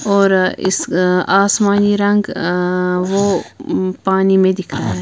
और अ इस आसमानी रंग अ वो पानी में अ दिख रहा है।